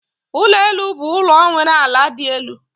Ulo elu bụ ụlọ nwere ala dị elu